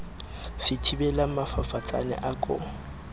se thibelang mafafatsane a ko